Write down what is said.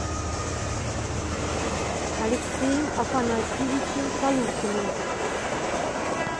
алексеем афанасьевичем полухиным